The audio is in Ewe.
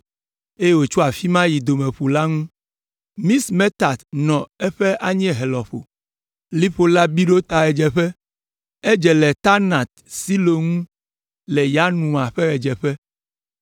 eye wòtso afi ma yi Domeƒu la ŋu. Mixmetat nɔ eƒe anyiehe lɔƒo. Liƒo la bi ɖo ta ɣedzeƒe; edze le Taanat Silo ŋu le Yanoa ƒe ɣedzeƒe